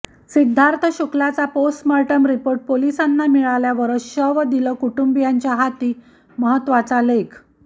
सिद्धार्थ शुक्लाचा postmortem report पोलिसांना मिळाल्यावरच शव दिलं कुटुंबियांच्या हाती महत्तवाचा लेख